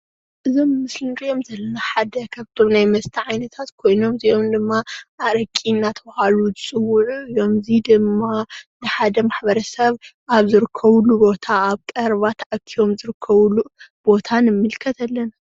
እዚ ኣብ ምስሊ እንሪኦ ዘለና ሓደ ካብቶም ናይ መስተ ዓይነታት ኮይኑ እዚኦም ድማ ኣረቂ እናተባሃሉ ዝፅውዑ እዮም፣ እዚይ ደማ ብሓደ ማሕበረሰብ ኣብ ዝርከብሉ ቦታ ኣብ ቀረባ ተኣኪቦም ዝርከብሉ ቦታ ንምልከት ኣለና፡፡